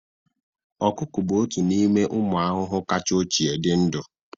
Ọkụkụ bụ otu n'ime ụmụ ahụhụ kacha ochie dị ndụ